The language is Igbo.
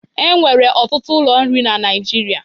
E nwere ọtụtụ ụlọ nri na Naịjirịa.